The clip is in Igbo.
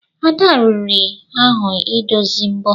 Ada riri ahụ idozi mbo.